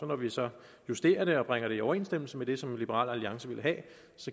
når vi så justerer den og bringer den i overensstemmelse med det som liberal alliance vil have